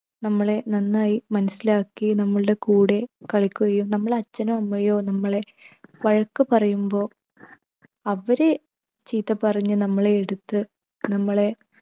നമ്മളെ നന്നായി മനസിലാക്കി നമ്മളുടെ കൂടെ കളിക്കുകയും, നമ്മളെ അച്ഛനോ അമ്മയോ നമ്മളെ വഴക്കു പറയുമ്പോൾ അവരെ ചീത്ത പറഞ്ഞ് നമ്മളെ എടുത്ത് നമ്മളെ